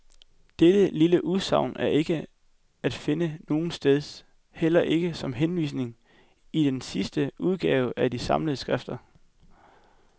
Dette lille udsagn er ikke at finde nogetsteds, heller ikke som henvisning, i den seneste udgave af de samlede skrifter.